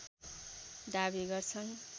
दाबी गर्छन्